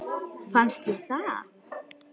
Fannst þér það?